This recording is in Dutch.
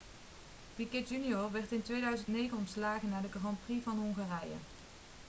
piquet jr werd in 2009 ontslagen na de grand prix van hongarije